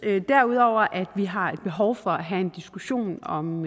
derudover at vi har behov for at have en diskussion om